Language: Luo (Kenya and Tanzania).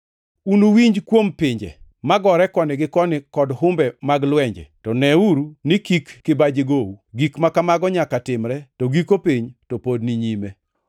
Unuwinj kuom pinje magore koni gi koni kod humbe mag lwenje, to neuru ni kik kibaji gou. Gik ma kamago nyaka timre, to giko piny to pod ni nyime.